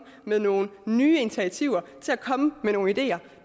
med nogle nye initiativer til at komme med nogle ideer